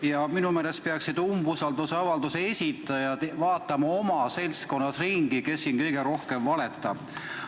Ja minu meelest peaksid umbusaldusavalduse esitajad vaatama oma seltskonnas ringi, kes siin kõige rohkem valetab.